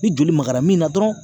Ni joli magara min na dɔrɔn